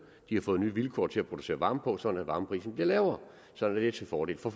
har fået nye vilkår til at producere varme på sådan at varmeprisen bliver lavere sådan at det er til fordel for